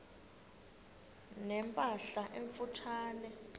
ne mpahla emfutshane